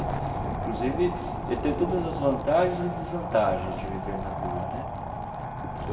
Inclusive, ele teve todas as vantagens e desvantagens de viver na rua né.